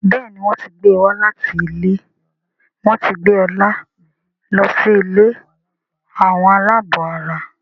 Béèni wón tí gbé wá láti ilé wón tí gbé Ola ló sì ilé Àwọn alabó àrà.